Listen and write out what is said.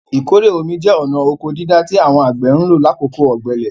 Ìkórè omi jẹ́ ọ̀na ọkọ dídá tí àwọn àgbẹ̀ ń lò lákòókò ọ̀gbẹlẹ̀.